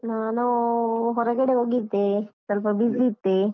ನಾನು ಹೊರಗಡೆ ಹೋಗಿದ್ದೆ ಸ್ವಲ್ಪ busy ಇದ್ದೆ.